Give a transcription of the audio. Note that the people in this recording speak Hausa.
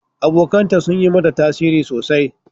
Abokanta sun yi mata tasiri sosai.